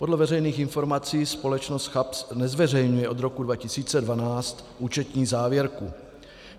Podle veřejných informací společnost CHAPS nezveřejňuje od roku 2012 účetní závěrku.